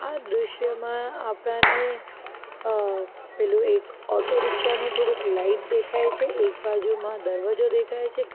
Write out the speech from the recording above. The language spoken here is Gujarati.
આ દ્રષ્યમાં આપણાને અહ પેલું એક ઓટો રીક્ષા નું થોડુંક લાઈટ દેખાય છે એક બાજુમાં દરવાજો દેખાય છે.